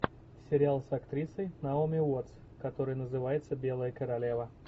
сериал с актрисой наоми уоттс который называется белая королева